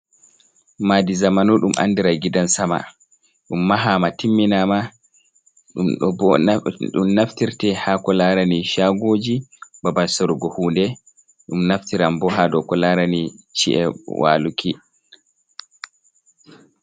Madi zamanu ɗum andira gidan sama, ɗum mahama timminama, ɗum naftirte hako larani shagoji babal surgo hunde, ɗum naftiram bo ha dow ko larani ci’e waluki.